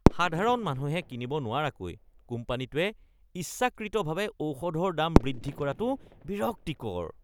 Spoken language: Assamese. সাধাৰণ মানুহে কিনিব নোৱৰাকৈ কোম্পানীটোৱে ইচ্ছাকৃতভাৱে ঔষধৰ দাম বৃদ্ধি কৰাটো বিৰক্তিকৰ। (গ্ৰাহক)